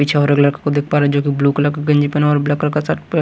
कुछ और अगला को देख पा रहे जोकि ब्लू कलर की गंजी पहना और ब्लैक कलर का शर्ट प--